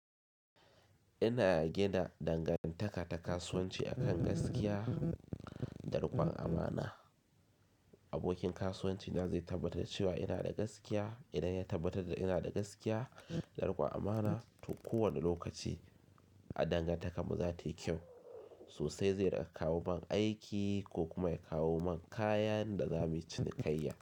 Ina gina dangantaka ta kasuwanci akan gaskiya, da rikwan amana. Abokin kasuwanci na zai tabbatar da cewa ina da gaskiya. Idan ya tabbatar da ina da gaskiya, da rikwan amana to kowane lokaci a danganta kar mu za ta yi kyau. Sosai zai raka kawo man aiki ko kuma ya kawo man kaya da zamuyi cinikayya.